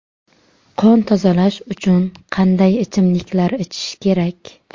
Qon tozalash uchun qanday ichimliklar ichish kerak?